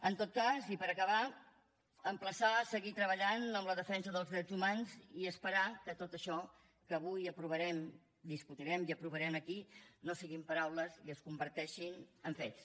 en tot cas i per acabar emplaçar a seguir treballant en la defensa dels drets humans i esperar que tot això que avui aprovarem discutirem i aprovarem aquí no siguin paraules i es converteixin en fets